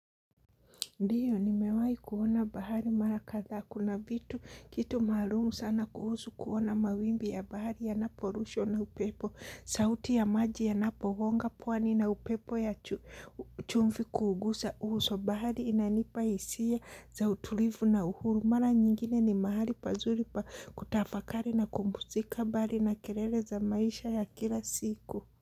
Ndiyo nimewai kuona bahari mara kadhaa kuna vitu kitu maalum sana kuhusu kuona mawimbi ya bahari yanaporushwa na upepo. Sauti ya maji yanapogonga pwani na upepo ya chumfi kuugusa uso bahari inanipa hisia za utulivu na uhuru. Mara nyingine ni mahali pazuri pa kutafakari na kumbuzika mbari na kerele za maisha ya kila siku.